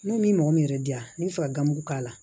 Ne ni mɔgɔ min yɛrɛ diya n bɛ fɛ ka gamugu k'a la